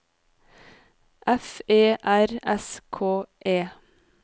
F E R S K E